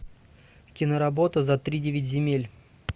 киноработа за тридевять земель